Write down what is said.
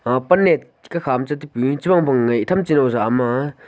aag pan ne kakha ma che tipu che phang phang ngai tham cha no jau ama--